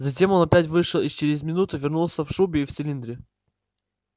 затем он опять вышел и через минуту вернулся в шубе и в цилиндре